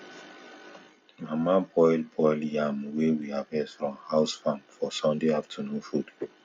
mama boil boil yam wey we harvest from house farm for sunday afternoon food